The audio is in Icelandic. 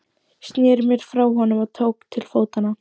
Sneri mér frá honum og tók til fótanna.